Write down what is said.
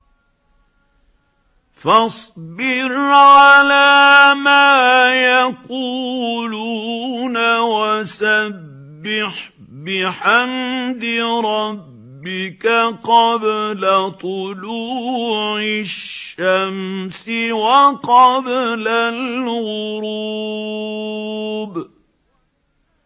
فَاصْبِرْ عَلَىٰ مَا يَقُولُونَ وَسَبِّحْ بِحَمْدِ رَبِّكَ قَبْلَ طُلُوعِ الشَّمْسِ وَقَبْلَ الْغُرُوبِ